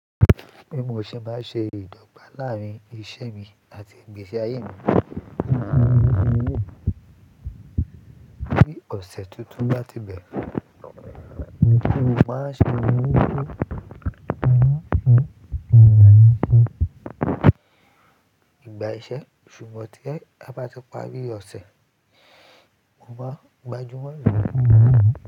Mo ṣe máa ṣe ìdọ́gba láàárín ìṣe mi àti ìgbésí ayé mi. Bí ọ̀sẹ̀ tuntun bá ti bẹ̀rẹ̀, mo máa ṣe ìgbà iṣẹ́ ṣùgbọ́n tí ẹ bá ti parí ọ̀sẹ̀, mo máa gbajúmọ̀